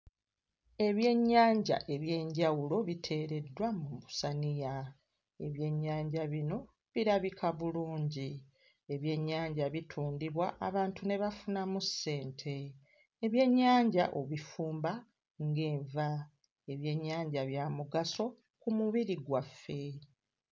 Ebyennyanja eby'enjawulo biteereddwa mu lusaniya. Ebyennyanja bino birabika bulungi. Ebyennyanja bitundibwa abantu ne bafunamu ssente. Ebyennyanja obifumba nga enva. Ebyennyanja bya mugaso ku mubiri gwaffe.